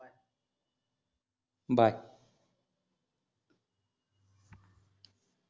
bye